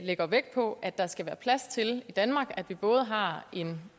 lægger vægt på at der skal være plads til at vi både har en